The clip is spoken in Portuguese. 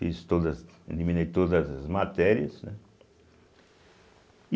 Fiz todas eliminei todas as matérias, né